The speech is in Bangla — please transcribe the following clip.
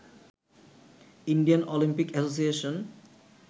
Indian Olympic association